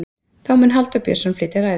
þá mun halldór björnsson flytja ræðu